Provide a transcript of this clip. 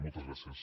moltes gràcies